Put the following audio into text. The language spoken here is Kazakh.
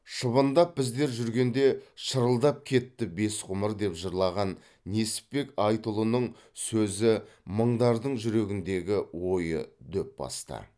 шыбындап біздер жүргенде шырылдап кетті бес ғұмыр деп жырлаған несіпбек айтұлының сөзі мыңдардың жүрегіндегі ойы дөп басты